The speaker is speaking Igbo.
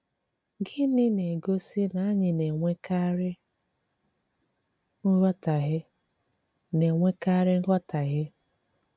Gịnị na-egosí na anyị na-enwèkàrí nghọtàhìe? na-enwèkàrí nghọtàhìe?